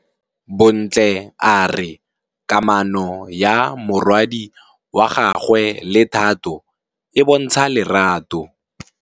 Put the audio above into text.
Bontle a re kamanô ya morwadi wa gagwe le Thato e bontsha lerato.